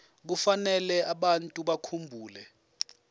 kufanele abantu bakhumbule